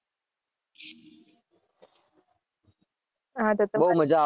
હાં તો તમે